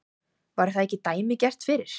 Var það ekki dæmigert fyrir